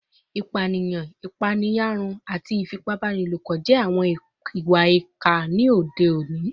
Ipaniyan, ipaeyarun, ifipabanilopo, ati ifipabanilopo jẹ awọn iwa-ipa ti ode oni